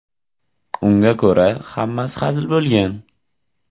Unga ko‘ra, hammasi hazil bo‘lgan.